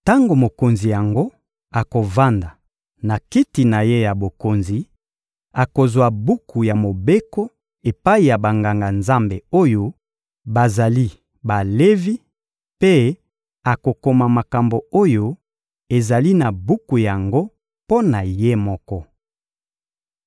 Tango mokonzi yango akovanda na kiti na ye ya bokonzi, akozwa buku ya Mobeko epai ya Banganga-Nzambe oyo bazali Balevi mpe akokoma makambo oyo ezali na buku yango mpo na ye moko.